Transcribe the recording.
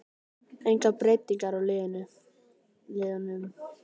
Engar breytingar á liðunum